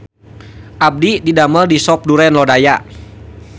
Abdi didamel di Sop Duren Lodaya